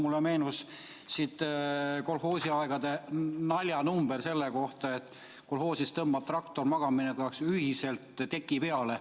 Mulle meenus kolhoosiaja naljanumber selle kohta, kuidas kolhoosis tõmbab traktor magamamineku ajaks kõigile ühiselt teki peale.